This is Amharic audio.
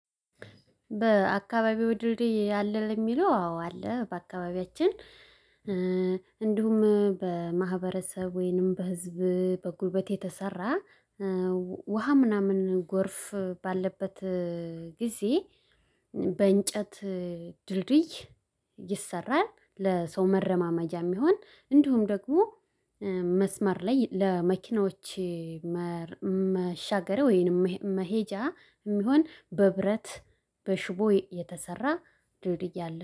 በአካባቢው ድልድይ ያለ ለሚለው አዎ አለ። በአካባቢያችን እንዲሁም በማህበረሰብ ወይንም በህዝብ በጉልበት የተሰራ ውሃ ምናምን ጎርፍ ባለበት ጊዜ በእንጨት ድልድይ ይሰራል። ለሰው መረማመጃም ይሁን እንዲሁም ደግሞ መስመር ላይ ለመኪናዎቼ መሻገሪይያ ወይንም መሄጃ የሚሆን በብረት በሽቦ የተሰራ ድልድይ አለ